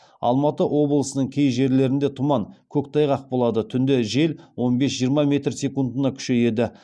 алматы облысының кей жерлерінде тұман көктайғақ болады түнде жел он бес жиырма метр секундына күшейеді